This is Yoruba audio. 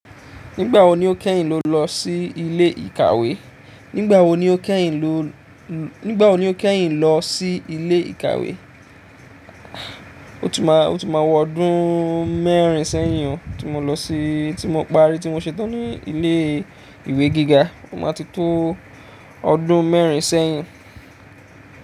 Nígbà wo ni o kẹ́yìn lo lọ sí ilé ìkàwé? Nígbà wo ni o kẹ́yìn lo, nígbà wo ni o kẹ́yìn lo lọ sí ilé ìkàwé? O ti má, o ti má wọ ọdún mẹ́rin sẹ́yìn tí mo lọ sí, tí mo parí tí mo ṣetán ní ilé ìwé gíga. Ó máa ti tó ọdún mẹ́rin sẹ́yìn.